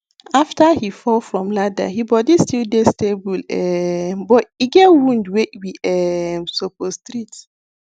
after he fall from ladder he body still dey stable um but e get wound wey we um suppose treat